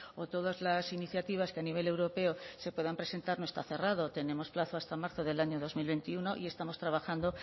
o todas las iniciativas que a nivel europeo se puedan presentar no está cerrado tenemos plazo hasta marzo del año dos mil veintiuno y estamos trabajando